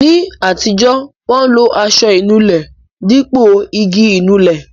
Ní àtijọ́, wọn lo aṣọ inúlẹ dípò igi Ìnulẹ̀